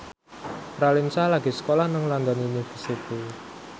Raline Shah lagi sekolah nang London University